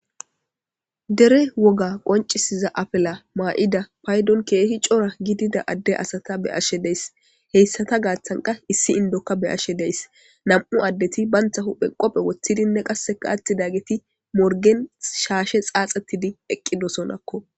dere woga qoncisiza afela maa7ida paydon keehi cora gidida adde asata be ashe dees heyssata gaaththanka issi indoka beashe deys nam7u addeti bantha huphe qophe woththidinne qasseka attidageti morgen shaashe xaaxatidi eqqidosonakko